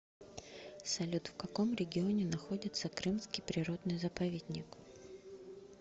салют в каком регионе находится крымский природный заповедник